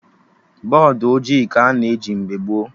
Bọdụ ojii ka a na eji mgbe gboo